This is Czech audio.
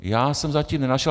Já jsem zatím nenašel.